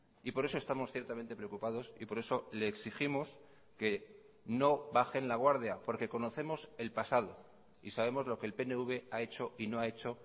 y por eso estamos ciertamente preocupados y por eso le exigimos que no bajen la guardia porque conocemos el pasado y sabemos lo que el pnv ha hecho y no ha hecho